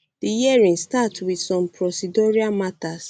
di hearing start wit some procedural matters